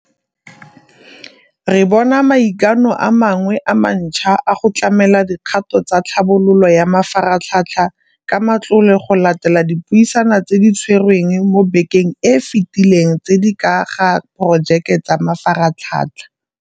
Re bona maikano a mangwe a mantšhwa a go tlamela dikgato tsa tlhabololo ya mafaratlhatlha ka matlole go latela dipuisano tse di tshwerweng mo bekeng e e fetileng tse di ka ga diporojeke tsa mafaratlhatlha.